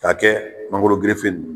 K'a kɛ mangoro ninnu